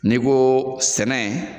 N'i ko sɛnɛ